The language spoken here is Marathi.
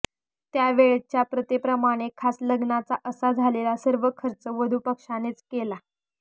त्या वेळच्या प्रथेप्रमाणे खास लग्नाचा असा झालेला सर्व खर्च वधूपक्षानेच केला